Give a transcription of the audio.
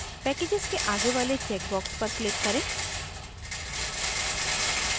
packages के आगे वाले check box पर click करें